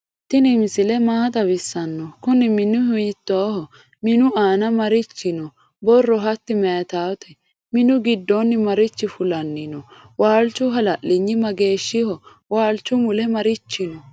tini misile maa xawisano? kunni minu hitoho? minu anna marichi no?borro hati mayitawote? minu gidoni marchi fulanni no? walchu hala'linyi mageshiho? walchu mulle marichi no?